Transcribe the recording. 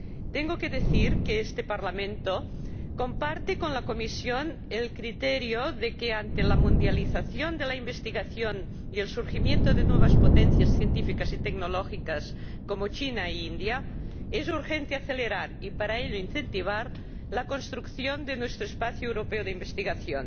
Tengo que decir que este Parlamento comparte con la Comisión el criterio de que ante la mundialización de la investigación y el surgimiento de nuevas potencias científicas y tecnológicas como China y la India, es urgente acelerar, y para ello incentivar, la construcción de nuestro espacio europeo de investigación.